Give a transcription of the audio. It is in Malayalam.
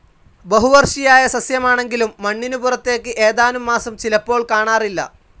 ബഹുവർഷിയായ സസ്യമാണെങ്കിലും മണ്ണിനു പുറത്തേക്ക് ഏതാനും മാസം ചിലപ്പോൾ കാണാറില്ല.